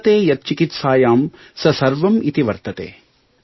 ವತರ್ತೆ ಯತ್ ಚಿಕಿತ್ಸಾಯಾಂ ಸ ಸವರ್ಂ ಇತಿ ವರ್ತತೆ